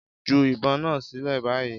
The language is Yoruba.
Ju ìbọn náà sílẹ̀ báyìí!